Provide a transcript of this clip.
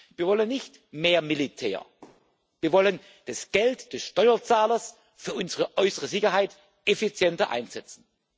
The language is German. Wir wollen nicht mehr Militär, wir wollen das Geld des Steuerzahlers für unsere äußere Sicherheit effizienter einsetzen.